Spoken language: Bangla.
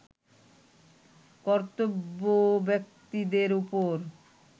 কর্তাব্যক্তিদের ওপর